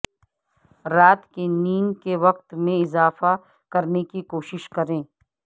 رات کی نیند کے وقت میں اضافہ کرنے کی کوشش کریں